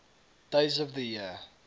days of the year